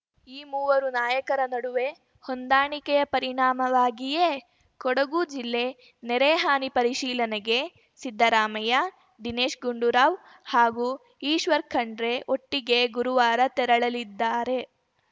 ಈ ಮೂವರು ನಾಯಕರ ನಡುವೆ ಹೊಂದಾಣಿಕೆಯ ಪರಿಣಾಮವಾಗಿಯೇ ಕೊಡಗು ಜಿಲ್ಲೆ ನೆರೆ ಹಾನಿ ಪರಿಶೀಲನೆಗೆ ಸಿದ್ದರಾಮಯ್ಯ ದಿನೇಶ್‌ ಗುಂಡೂರಾವ್‌ ಹಾಗೂ ಈಶ್ವರ್‌ ಖಂಡ್ರೆ ಒಟ್ಟಿಗೇ ಗುರುವಾರ ತೆರಳಲಿದ್ದಾರೆ